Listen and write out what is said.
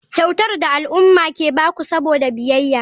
Kyautar da al'umma ke ba ku saboda biyayya.